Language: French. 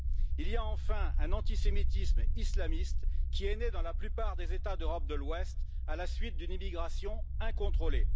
Il y a enfin un antisémitisme islamiste qui est né dans la plupart des États d'Europe de l'Ouest à la suite d'une immigration incontrôlée.